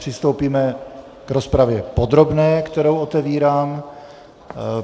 Přistoupíme k rozpravě podrobné, kterou otevírám.